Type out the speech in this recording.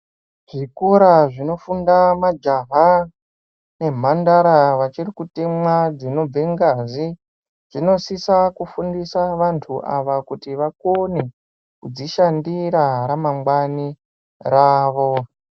Zvikora zvinofunda majaha nemhandara vachiri kutemwa dzinobva ngazi. Tinosisa kufundisa vantu ava kuti vakone kudzishandira ramangwani ravo.